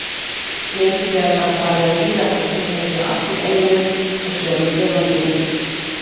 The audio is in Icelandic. Lengi vel var talið að gíraffar tilheyrðu allir einu og sömu tegundinni.